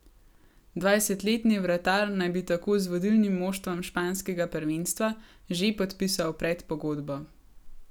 Dvajsetletni vratar naj bi tako z vodilnim moštvom španskega prvenstva že podpisal predpogodbo.